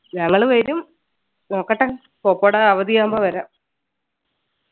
ഞങ്ങള് വരും നോക്കട്ടെ പോപ്പോടെ അവധിയാകുമ്പോ വരാം